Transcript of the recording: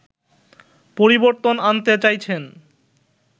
পরিবর্তন আনতে চাইছেন